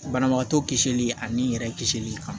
Banabagatɔ kisili ani n yɛrɛ kisili kan